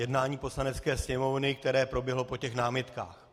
Jednání Poslanecké sněmovny, které proběhlo po těch námitkách.